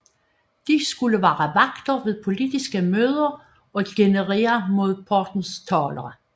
De skulle være vagter ved politiske møder og genere modpartens talere